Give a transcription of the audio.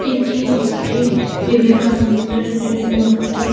এটি একটি বিবেকানন্দের মূর্তি।